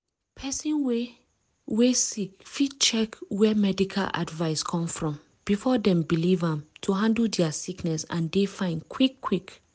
pesin wey wey sick fit check where medical advice come from before dem believe am to handle dia sickness and dey fine quick quick.